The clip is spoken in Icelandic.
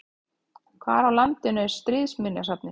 Hvar á landinu er Stríðsminjasafnið?